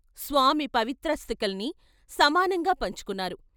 స్వామి పవిత్రా స్థికల్ని సమానంగా పంచుకున్నారు.